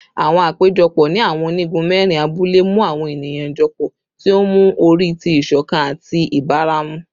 Awọn apejọpọ ni awọn onigun mẹrin abule mu awọn eniyan jọpọ, ti o nmu ori ti iṣọkan ati ibaramu